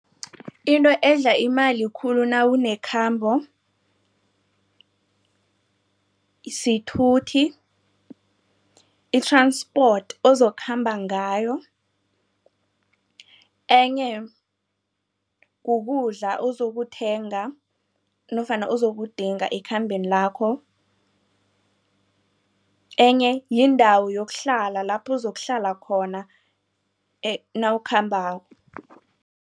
Into edla imali khulu nawunekhambo sithuthi i-transport ozokukhamba ngayo. Enye kukudla ozokuthenga nofana uzokudinga ekhambeni lakho. Enye yindawo yokuhlala lapho uzokuhlala khona nawukhambako.